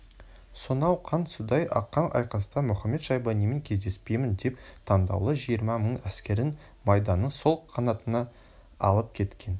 сонау қан судай аққан айқаста мұхамед-шайбанимен кездеспеймін деп таңдаулы жиырма мың әскерін майданның сол қанатына алып кеткен